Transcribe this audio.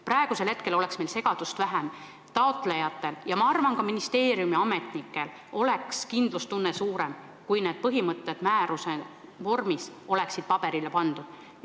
Praegusel hetkel oleks meil segadust vähem, taotlejatel ja ma arvan, ka ministeeriumiametnikel oleks kindlustunne suurem, kui need põhimõtted määruse vormis oleksid paberile pandud.